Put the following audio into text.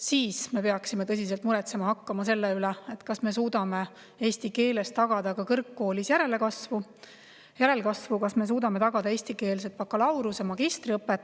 Siis me peaksime tõsiselt muretsema hakkama selle pärast, kas me suudame eesti keeles tagada kõrgkoolis järelkasvu, kas me suudame tagada eestikeelse bakalaureuse- ja magistriõppe.